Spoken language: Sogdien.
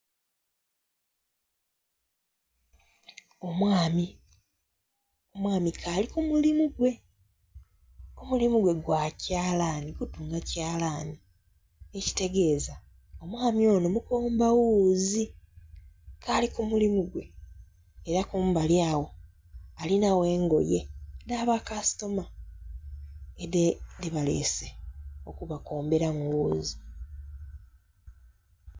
Omwami, omwami k'ali ku mulimu gwe, omulimu gwe gwa kyalani kutunga kyalani ekitegeza omwaami onho mukomba wuuzi k'ali ku mulimu gwe. Era kumbali agaho alinhagho engoye dha ba kasitoma dhebalese okubakomberamu wuuzi.